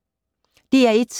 DR1